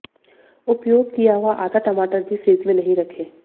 उपयोग किया हुआ आधा टमाटर भी फ्रिज में नहीं रखें